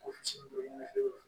Ko ne